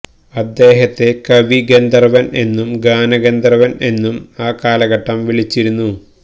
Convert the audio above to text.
അദ്ദേഹത്തെ കവി ഗന്ധർവൻ എന്നും ഗാനഗന്ധർവൻ എന്നും ആ കാലഘട്ടം വിളിച്ചിരുന്നു